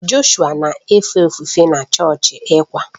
Joshua na-efe ofufe na chọọchị ECWA